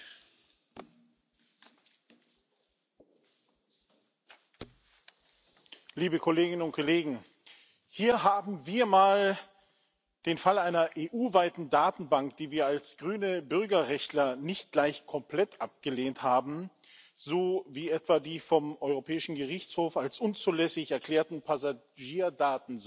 Herr Präsident, liebe Kolleginnen und Kollegen! Hier haben wir mal den Fall einer EU weiten Datenbank, die wir als grüne Bürgerrechtler nicht gleich komplett abgelehnt haben, so wie etwa die vom Europäischen Gerichtshof als unzulässig erklärten Passagierdatensammlungen.